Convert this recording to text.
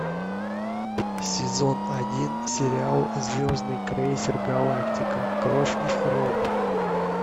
сезон один сериал звездный крейсер галактика кровь и хром